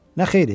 Nə xeyri?